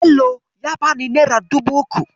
Bello ya bani nera dubu uku.